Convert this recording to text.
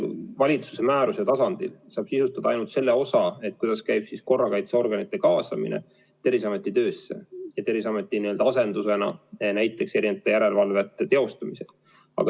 Valitsuse määruse tasandil saab sisustada ainult selle osa, kuidas käib korrakaitseorganite kaasamine Terviseameti töösse ja Terviseameti n-ö asendusena järelevalvete teostamisel.